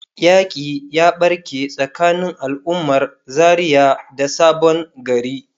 yaƙi ya barke tsakanin al'ummar Zaria da sabon gari.